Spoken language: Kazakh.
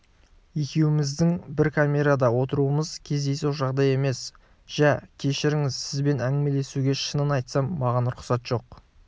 екеуміздің бір камерада отыруымыз кездейсоқ жағдай емес жә кешіріңіз сізбен әңгімелесуге шынын айтсам маған рұқсат жоқ